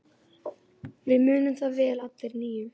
Við munum það vel allir níu.